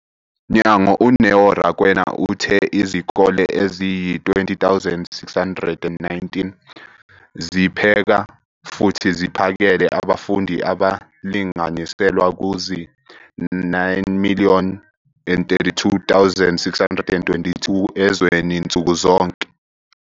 Mnyango, uNeo Rakwena, uthe izikole eziyizi-20 619 zipheka futhi ziphakele abafundi abalinganiselwa kuzi-9 032 622 ezweni nsuku zonke.